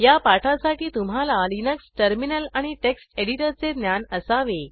या पाठासाठी तुम्हाला लिनक्स टर्मिनल आणि टेक्स्ट एडिटरचे ज्ञान असावे